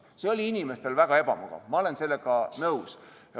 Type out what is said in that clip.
See oli inimestele väga ebamugav, ma olen sellega nõus.